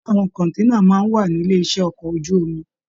Ṣe àwọn kọ̀nténà máa n wà nílé iṣẹ ọkọ̀ ojú omi?